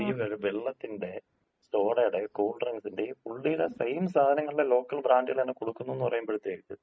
അതായത് ഈ വെള്ളത്തിന്‍റെയും സോഡേഡേയും കൂൾ ഡ്രിങ്ക്സ്ന്‍റെയും പുള്ളിടെ സെയിം സാധനങ്ങളുടെ ലോക്കൽ ബ്രാൻഡ് തന്നയാണ് കൊടുക്കുന്നുന്ന് പറയുമ്പഴത്തേയ്ക്ക്,